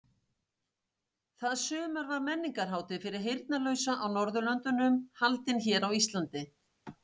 Það sumar var menningarhátíð fyrir heyrnarlausa á Norðurlöndunum haldin hér á Íslandi.